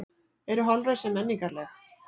Eru holræsi menningarleg?